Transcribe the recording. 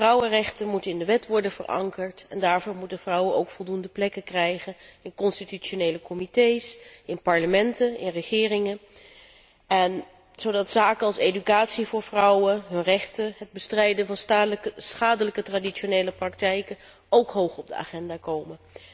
Vrouwenrechten moeten in de wet worden verankerd en daarvoor moeten vrouwen ook voldoende plekken krijgen in constitutionele comités, in parlementen, in regeringen, zodat zaken als educatie voor vrouwen, hun rechten, het bestrijden van schadelijke traditionele praktijken ook hoog op de agenda komen.